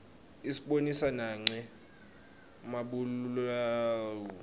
isibonisa nanqe mabalaue